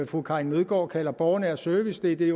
fru karin nødgaard kalder borgernær service det er det